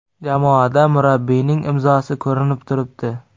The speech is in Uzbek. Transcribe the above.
Jamoada murabbiyning imzosi ko‘rinib turibdi.